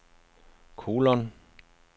kolon